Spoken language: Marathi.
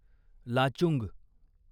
लाचुंग